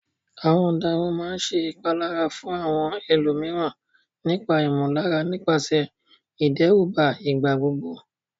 Àwọn ọ̀daràn máa ń ṣe ìpalára fún àwọn ẹlòmíràn nípa ìmọ̀lára nípasẹ̀ ìdẹ́rùbà ìgbà gbogbo.